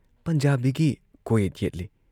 ꯄꯟꯖꯥꯕꯤꯒꯤ ꯀꯣꯛꯌꯦꯠ ꯌꯦꯠꯂꯤ ꯫